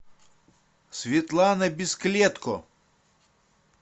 светлана бесклетко